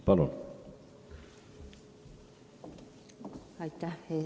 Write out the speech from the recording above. Palun!